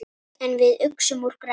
En við uxum úr grasi.